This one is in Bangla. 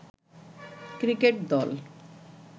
ক্রিকেট দল